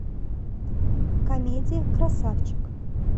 комедия красавчик